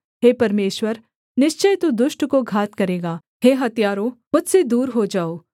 हे परमेश्वर निश्चय तू दुष्ट को घात करेगा हे हत्यारों मुझसे दूर हो जाओ